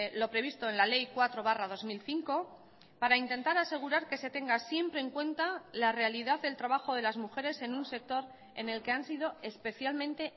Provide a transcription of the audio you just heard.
lo previsto en la ley cuatro barra dos mil cinco para intentar asegurar que se tenga siempre en cuenta la realidad del trabajo de las mujeres en un sector en el que han sido especialmente